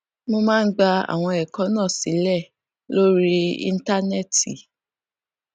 wón máa ń gba àwọn èkó náà sílè lórí íńtánéètì